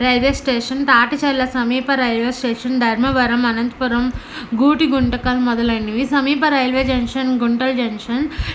Railway station Taticherla సమిఫ railway station Dharmavaram Anantapuram Gooty Guntakal మొదలైనవి సమీప రైల్వే జంక్షన్ గుంతకల్ జంక్షన్ .]